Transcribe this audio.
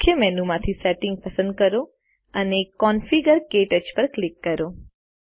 મુખ્ય મેનુ માંથી સેટિંગ્સ પસંદ કરો અને કોન્ફિગર - ક્ટચ પર ક્લિક કરો